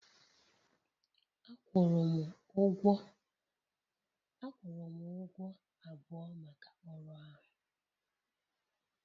A kwụrụ m ụgwọ abụọ maka ọrụ ahụ